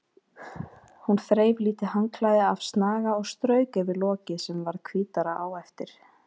Hún þreif lítið handklæði af snaga og strauk yfir lokið sem varð hvítara á eftir.